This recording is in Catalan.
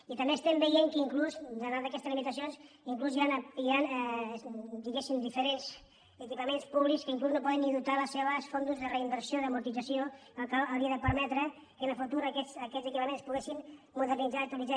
i també estem veient que inclús ateses aquestes limitacions hi han diferents equipaments públics que inclús no poden ni dotar els seus fons de reinversió d’amortització que hauria de permetre que en el futur aquests equipaments es poguessin modernitzar actua·litzar